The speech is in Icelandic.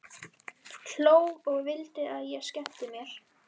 Hló og vildi að ég skemmti mér.